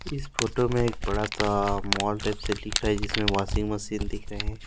इस फोटो मे एक बड़ा सा मॉल टाइप से दिख रहा है जिसमें वासिंग मशीन दिख रहे हैं।